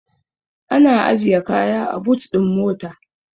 Ana ajiye kaya a but ɗin mota.